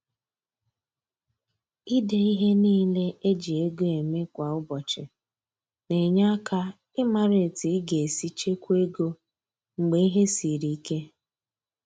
Ide ihe niile e ji ego eme kwa ụbọchị na-enye aka ịmara etu ị ga-esi chekwaa ego mgbe ihe siri ike.